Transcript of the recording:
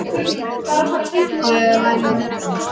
Ég er væmin.